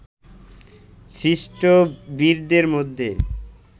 সৃষ্ট বীরদের মধ্যে